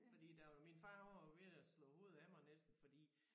Fordi der var min far han var jo ved at slå hovedet af mig næsten fordi